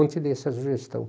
Ontem dei essa sugestão.